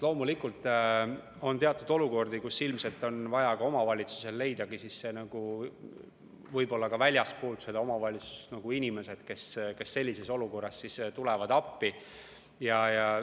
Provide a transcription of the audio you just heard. Loomulikult on teatud olukordi, kus ilmselt on omavalitsusel vaja leida võib-olla väljastpoolt omavalitsust inimesed, kes appi tulevad.